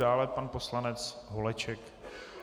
Dále pan poslanec Holeček.